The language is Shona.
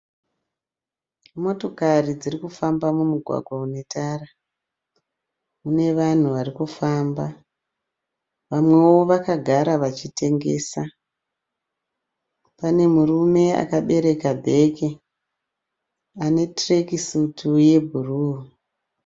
Motokari dziri kufamba mumugwagwa une tara. Mune vanhu vari kufamba. Vamwewo vakagara vachitengesa. Pane murume akabereka bhegi ane tirekisutu yebhuruu.